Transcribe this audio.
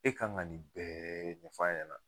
E kan ka nin bɛɛ ɲɛfɔ a ɲana.